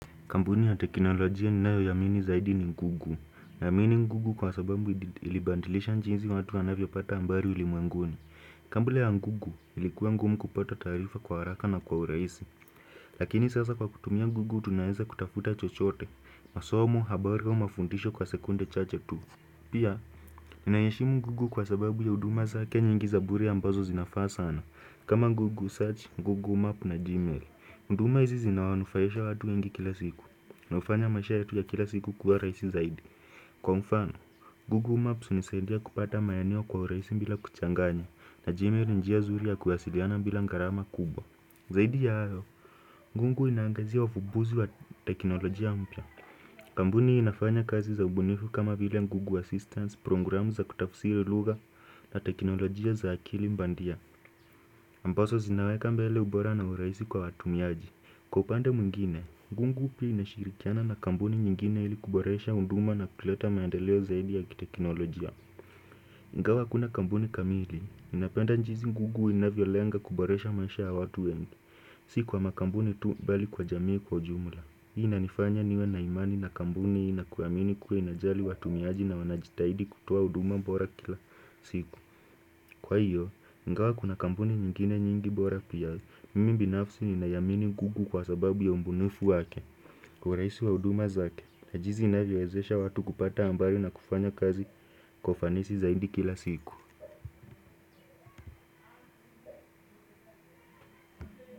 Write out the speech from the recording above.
Kampuni ya teknolojia ninayoiamini zaidi ni google, naamini google kwa sababu ilibadilisha jinsi watu wanavyopata habari ulimwenguni. Kabla ya google ilikuwa ngumu kupata taarifa kwa haraka na kwa urahisi. Lakini sasa kwa kutumia google tunaweza kutafuta chochote masomo, habari au mafundisho kwa sekunde chache tu Pia, ninaiheshimu google kwa sababu ya huduma zake nyingi za bure ambazo zinafaa sana, kama google search, google map na gmail. Huduma hizi zinawanufaisha watu wengi kila siku. Na hufanya maisha yetu ya kila siku kuwa rahisi zaidi. Kwa mfano, Google Maps hunisaidia kupata maeneo kwa urahisi bila kuchanganya na Gmail ni njia nzuri ya kuwasiliana bila gharama kubwa. Zaidi ya hayo, google inaangazia ufumbuzi wa teknolojia mpya. Kampuni hiyo inafanya kazi za ubunifu kama vile Google Assistance, program za kutafsiri lugha na teknolojia za akili bandia. Ambazo zinaweka mbele ubora na urahisi kwa watumiaji. Kwa upande mwingine, google pia inashirikiana na kampuni nyingine ili kuboresha huduma na kuleta maandeleo zaidi ya kiteknolojia. Ingawa hakuna kampuni kamili, ninapenda jinsi google inavyolenga kuboresha maisha ya watu wengi. Si kwa makampuni tu bali kwa jamii kwa ujumula. Hii inanifanya niwe na imani na kampuni hii na kuamini kuwa inajali watumiaji na wanajitahidi kutoa huduma bora kila siku. Kwa hivyo, ingawa kuna kampuni nyingine nyingi bora pia, mimi binafsi ninaiamini google kwa sababu ya ubunifu wake. Kwa urahisi wa huduma zake, na jinsi inavyowezesha watu kupata habari na kufanya kazi kwa ufanisi zaidi kila siku.